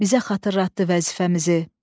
bizə xatırlatdı vəzifəmizi.